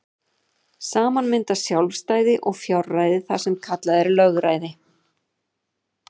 Saman mynda sjálfræði og fjárræði það sem kallað er lögræði.